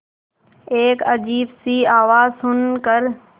एक अजीब सी आवाज़ सुन कर